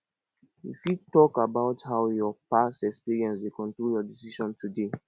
you fit talk about how your past experiences dey control your decision today